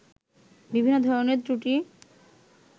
বিভিন্ন ধরনের ত্রুটির